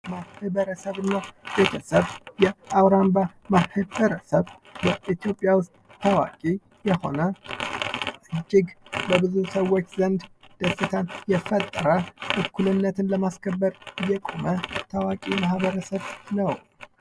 ማህብረተሰብ እና ቤተሰብ የአውራምባ ማህብረተሰብ በኢትዮጵያ ውስጥ ታዋቂ የሆነ እጅግ በብዙ ሰዎች ዘንድ ደስታን የፈጠረ እኩልነትን ለማስከበር የቆመ ታዋቂ ማህበረሰብ ነው።